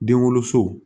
Den woloso